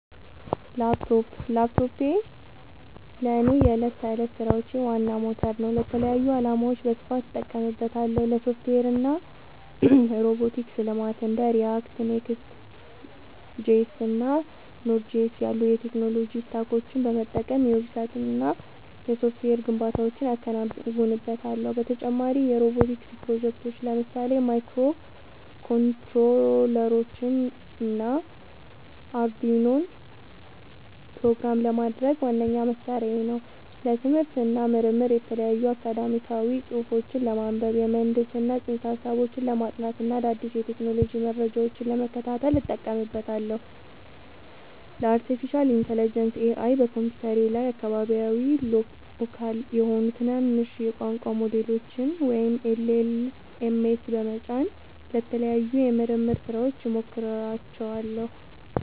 ላፕቶፕ ላፕቶፔ ለእኔ የዕለት ተዕለት ሥራዎቼ ዋና ሞተር ነው። ለተለያዩ ዓላማዎች በስፋት እጠቀምበታለሁ - ለሶፍትዌር እና ሮቦቲክስ ልማት እንደ React፣ Next.js እና Node.js ያሉ የቴክኖሎጂ ስታኮችን በመጠቀም የዌብሳይትና የሶፍትዌር ግንባታዎችን አከናውንበታለሁ። በተጨማሪም የሮቦቲክስ ፕሮጀክቶችን (ለምሳሌ ማይክሮኮንትሮለሮችንና አርዱኢኖን) ፕሮግራም ለማድረግ ዋነኛ መሣሪያዬ ነው። ለትምህርት እና ምርምር የተለያዩ አካዳሚያዊ ጽሑፎችን ለማንበብ፣ የምህንድስና ፅንሰ-ሀሳቦችን ለማጥናት እና አዳዲስ የቴክኖሎጂ መረጃዎችን ለመከታተል እጠቀምበታለሁ። ለአርቲፊሻል ኢንተለጀንስ (AI) በኮምፒውተሬ ላይ አካባቢያዊ (local) የሆኑ ትናንሽ የቋንቋ ሞዴሎችን (LLMs) በመጫን ለተለያዩ የምርምር ሥራዎች እሞክራቸዋለሁ።